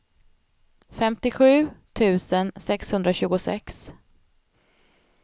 femtiosju tusen sexhundratjugosex